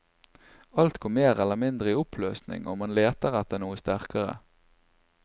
Alt går mer eller mindre i oppløsning, og man leter etter noe sterkere.